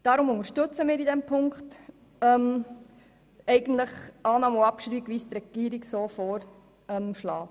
Darum unterstützen wir bei dieser Ziffer die Annahme und gleichzeitige Abschreibung, so wie es die Regierung vorschlägt.